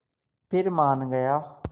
फिर मान गया